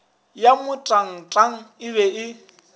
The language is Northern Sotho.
ya motangtang e be e